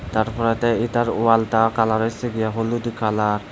তারপরেতে এতার ওয়ালতা কালার হইসে গিয়া হলুদ কালার ।